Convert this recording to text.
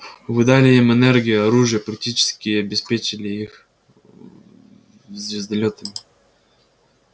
вы дали им энергию оружие практически обеспечили их звездолётами